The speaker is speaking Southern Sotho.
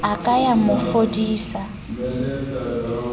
a ka ya mo fodisa